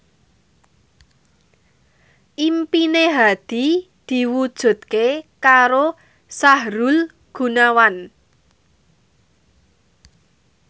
impine Hadi diwujudke karo Sahrul Gunawan